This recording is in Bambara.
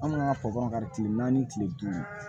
Anw ka kari naani kile duuru